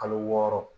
Kalo wɔɔrɔ